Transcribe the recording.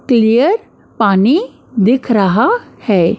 Clear पानी दिख रहा है।